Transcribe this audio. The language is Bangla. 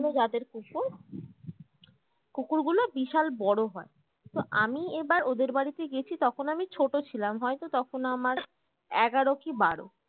অন্য জাতের কুকুর কুকুরগুলো বিশাল বড়ো হয় তো আমি এবার ওদের বাড়িতে গেছি তখন আমি ছোট ছিলাম হয়তো তখন আমার এগারো কি বারো